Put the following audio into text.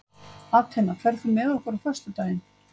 Atena, ferð þú með okkur á föstudaginn?